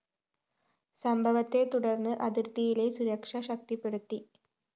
സംഭവത്തെ തുടര്‍ന്ന് അതിര്‍ത്തിയിലെ സുരക്ഷ ശക്തിപ്പെടുത്തി